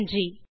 நன்றி